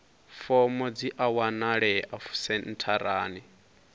fomo dzi a wanalea sentharani